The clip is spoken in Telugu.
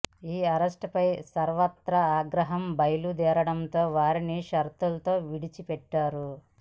ఈ అరెస్టుపై సర్వత్రా ఆగ్రహం బయలు దేరడంతో వారిని షరతులతో విడిచి పెట్టారు